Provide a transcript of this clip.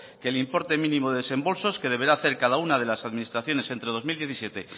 que el importe mínimo de desembolsos que deberá hacer cada una de las administraciones entre dos mil diecisiete